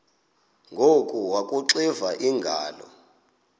ngoku akuxiva iingalo